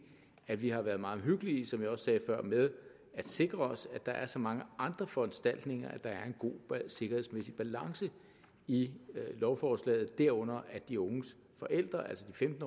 at vi har været meget omhyggelige som jeg også sagde før med at sikre os at der er så mange andre foranstaltninger at der er en god sikkerhedsmæssig balance i lovforslaget derunder at de unges forældre altså de femten